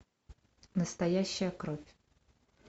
настоящая кровь